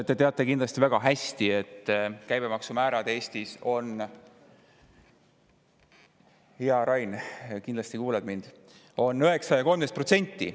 Te teate kindlasti väga hästi, et käibemaksumäärad Eestis on – hea Rain, sa ju kuuled mind – 9% ja 13%.